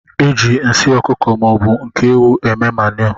Eji nsị ọkụkọ maọbu nke ewụ eme manu.